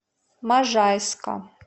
можайска